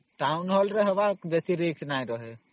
Townhall ରେ kale ବେଶୀ Risk ନାହିଁ